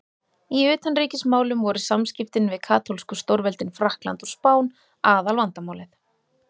Í utanríkismálum voru samskiptin við katólsku stórveldin Frakkland og Spán aðalvandamálið.